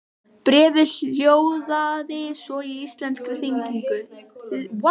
Bréfið hljóðaði svo í íslenskri þýðingu